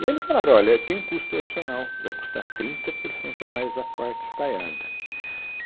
E eles falaram, olha, tem um custo adicional, vai custar trinta por cento a mais a parte estaiada.